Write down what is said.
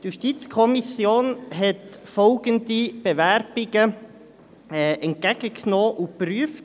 Die JuKo hat folgende Bewerbungen entgegengenommen und geprüft: